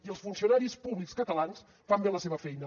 i els funcionaris públics catalans fan bé la seva feina